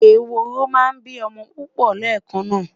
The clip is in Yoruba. eworo má n bi omo pupo lekan na